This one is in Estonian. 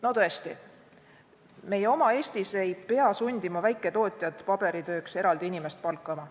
No tõesti, meie oma Eestis ei pea sundima väiketootjat paberitööks eraldi inimest palkama.